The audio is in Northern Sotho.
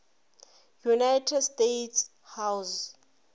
united states house